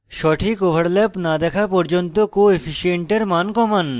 সঠিক overlap না দেখা পর্যন্ত coefficient এর মান কমান